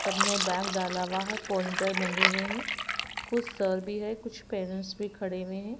सबने बैग डाला हुआ है पॉनिटर बंधे हुए हैं कुछ सर भी है कुछ पेरेंट्स भी खड़े हुए हैं।